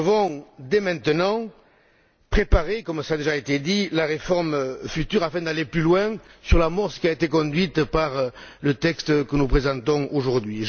Nous devons dès maintenant préparer, comme cela a déjà été dit, la réforme future afin d'aller plus loin sur l'amorce qui a été conduite par le texte que nous présentons aujourd'hui.